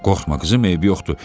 Qorxma qızım, eybi yoxdur.